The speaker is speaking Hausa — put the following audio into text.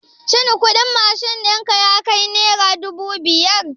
Shin kuɗin mashin ɗinka yakai nera dubu biyar?